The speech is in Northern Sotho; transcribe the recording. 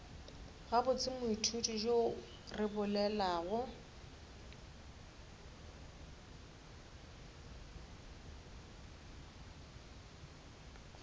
gabotse moithuti yo re bolelago